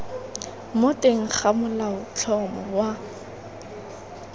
mo teng ga molaotlhomo wa